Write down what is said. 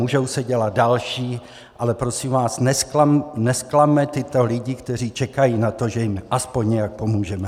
Můžou se dělat další, ale prosím vás, nezklamme tyto lidi, kteří čekají na to, že jim aspoň nějak pomůžeme.